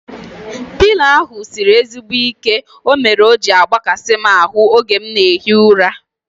Pịlo ahu sịrị ezigbo ike mere o ji agbakasi m ahu oge m na ehi ụra